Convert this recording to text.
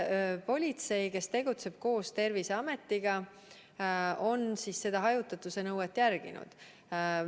Politsei, kes tegutseb koos Terviseametiga, on seda hajutatuse nõuet jälginud.